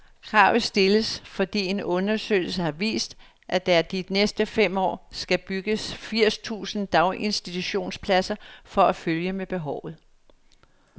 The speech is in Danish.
Kravet stilles, fordi en undersøgelse har vist, at der de næste fem år skal bygges firs tusind daginstitutionspladser for at følge med behovet.